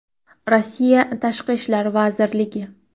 Rossiya Tashqi ishlar vazirligi.